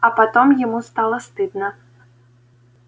а потом ему стало стыдно